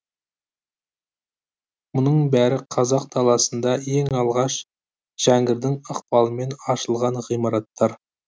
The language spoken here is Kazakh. мұның бәрі қазақ даласында ең алғаш жәңгірдің ықпалымен ашылған ғимараттар